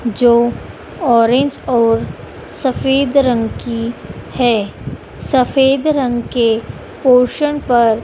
जो ऑरेंज और सफेद रंग की है सफेद रंग के पोर्शन पर--